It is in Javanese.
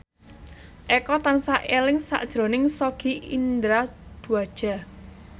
Eko tansah eling sakjroning Sogi Indra Duaja